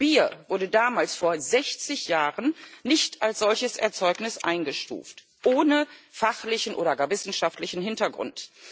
Bier wurde damals, vor 60 Jahren, nicht als solches Erzeugnis eingestuft ohne fachlichen oder gar wissenschaftlichen Hintergrund.